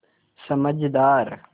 समझदार